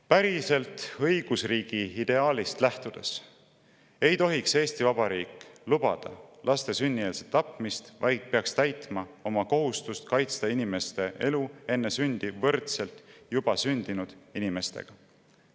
Päriselt õigusriigi ideaalist lähtudes ei tohiks Eesti Vabariik lubada laste sünnieelset tapmist, vaid peaks täitma oma kohustust kaitsta inimeste elu enne sündi võrdselt juba sündinud inimestega.